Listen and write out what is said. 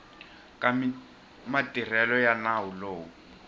ka matirhelo ya nawu lowu